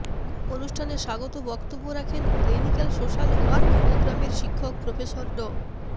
অনুষ্ঠানে স্বাগত বক্তব্য রাখেন ক্লিনিক্যাল সোশ্যাল ওয়ার্ক প্রোগ্রামের শিক্ষক প্রফেসর ড